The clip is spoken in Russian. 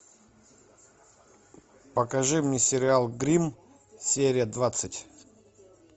покажи мне сериал гримм серия двадцать